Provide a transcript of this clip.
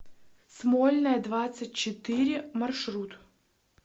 смольная двадцать четыре маршрут